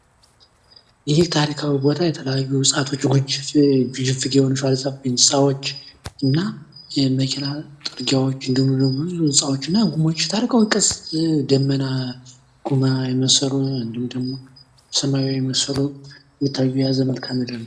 የውሃ አካላት እንደ ወንዞችና ሀይቆች ለሥልጣኔ መፈጠርና ለንግድ መስፋፋት ወሳኝ ሚና ተጫውተዋል።